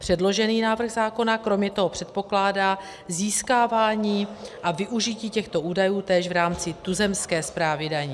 Předložený návrh zákona kromě toho předpokládá získávání a využití těchto údajů též v rámci tuzemské správy daní.